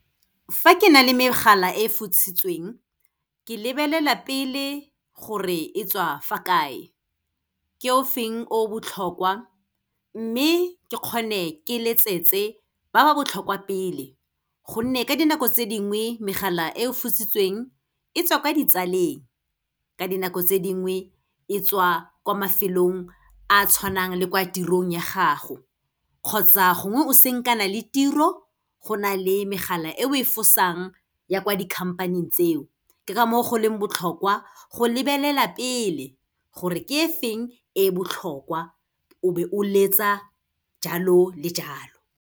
Fa ke na le megala e fositsweng, ke lebelela pele gore e tswa fa kae. Ke o feng o botlhokwa, mme ke kgone ke letsetse ba ba botlhokwa pele, gonne ka dinako tse dingwe megala e fositsweng, e tswa kwa ditsaleng. Ka dinako tse dingwe, e tswa kwa mafelong a a tshwanang le kwa tirong ya gago kgotsa gongwe o senkana le tiro, go na le megala e o e fosang ya kwa di-company-ing tseo. Ke ka moo go leng botlhokwa go lebelela pele, gore ke e feng e botlhokwa, o be o letsa jalo le jalo.